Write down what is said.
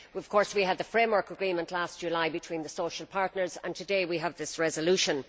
Of course we had the framework agreement last July between the social partners and today we have this resolution.